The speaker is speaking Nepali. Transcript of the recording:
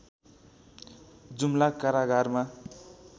जुम्ला कारागारमा